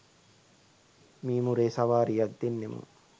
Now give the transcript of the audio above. මීමුරේ සවාරියක් දෙන්නෙමු